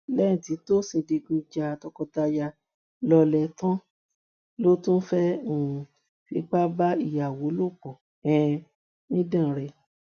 lẹyìn tí tósìn digun ja tọkọtaya lọlẹ tán ló tún fẹ um fipá bá ìyàwó lò pọ um nídànrè